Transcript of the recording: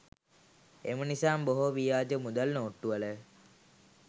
එම නිසාම බොහෝ ව්‍යාජ මුදල් නෝට්ටුවල